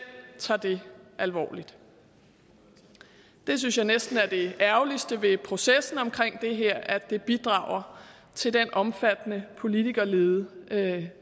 tager det alvorligt det synes jeg næsten er det ærgerligste ved processen omkring det her altså at det bidrager til den omfattende politikerlede